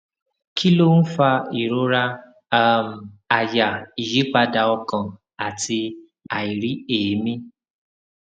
kí ló ń fa ìrora um àyà ìyípadà ọkàn àti àìrí èmí